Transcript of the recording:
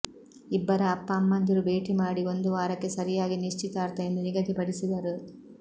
ಇಬ್ಬರ ಅಪ್ಪ ಅಮ್ಮಂದಿರು ಭೇಟಿ ಮಾಡಿ ಒಂದು ವಾರಕ್ಕೆ ಸರಿಯಾಗಿ ನಿಶ್ಚಿತಾರ್ಥ ಎಂದು ನಿಗದಿಪಡಿಸಿದರು